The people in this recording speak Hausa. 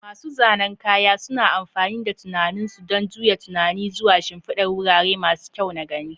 Masu zanen kaya suna amfani da tunanin su don juya tunani zuwa shimfidar wurare masu kyau na gani.